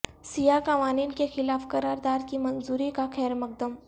سیاہ قوانین کے خلاف قرار داد کی منظوری کا خیر مقدم